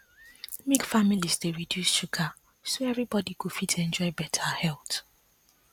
make families dey reduce sugar so everybody go fit enjoy better health